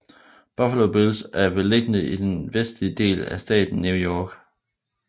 Buffalo Bills er beliggende i den vestlige del af staten New York